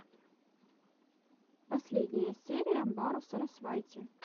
последняя серия байру сарасвайти